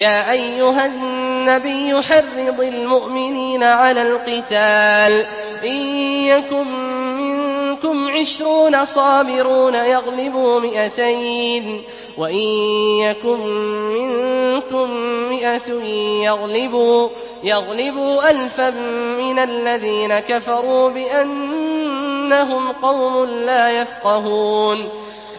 يَا أَيُّهَا النَّبِيُّ حَرِّضِ الْمُؤْمِنِينَ عَلَى الْقِتَالِ ۚ إِن يَكُن مِّنكُمْ عِشْرُونَ صَابِرُونَ يَغْلِبُوا مِائَتَيْنِ ۚ وَإِن يَكُن مِّنكُم مِّائَةٌ يَغْلِبُوا أَلْفًا مِّنَ الَّذِينَ كَفَرُوا بِأَنَّهُمْ قَوْمٌ لَّا يَفْقَهُونَ